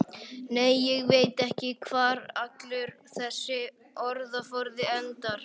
Nei, ég veit ekki hvar allur þessi orðaforði endar.